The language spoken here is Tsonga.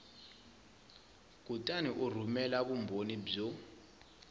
kutani u rhumela vumbhoni byo